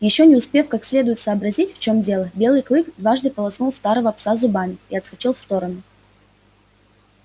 ещё не успев как следует сообразить в чем дело белый клык дважды полоснул старого пса зубами и отскочил в сторону